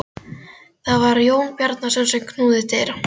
Það var Jón Bjarnason sem knúði dyra.